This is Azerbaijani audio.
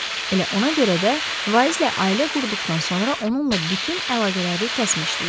Elə ona görə də vaizlə ailə qurduqdan sonra onunla bütün əlaqələri kəsmişdilər.